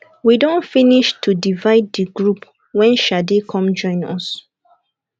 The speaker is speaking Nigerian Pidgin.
we don finish to divide the group wen shade come join us